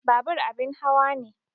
Babur abin hawa ne